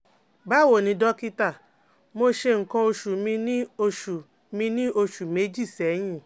Báwo ni dọ́kítà, mo ṣe nǹkan oṣù mi ní oṣù mi ní oṣù méjì sẹ́yìn